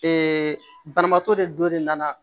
banabaatɔ de don ne nana